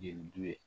Jeliju ye